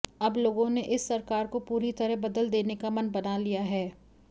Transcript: अब लोगों ने इस सरकार को पूरी तरह बदल देने का मन बना लिया है